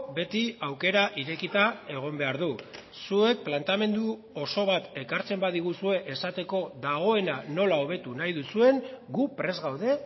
beti aukera irekita egon behar du zuek planteamendu oso bat ekartzen badiguzue esateko dagoena nola hobetu nahi duzuen gu prest gaude